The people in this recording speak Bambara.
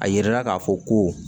A yira la k'a fɔ ko